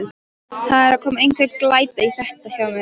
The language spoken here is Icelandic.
Það er að koma einhver glæta í þetta hjá mér.